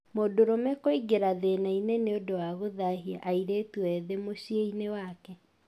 Mũndũrũme kũingĩra thĩna-inĩ nĩ ũndũ wa gũthahia airĩtu ethĩ mũciĩ-inĩ wake